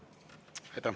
Aitäh!